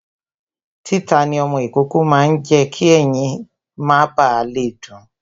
Títà ní ọmọ ìkókó máa ń jé kí ẹyin má ba le dun